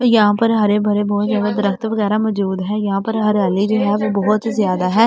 यहां पर हरे-भरे बहुत ज्यादा दरख़्त वगैरा मौजूद है यहां पर हरियाली जो है बहुत ज्यादा है यहां पर।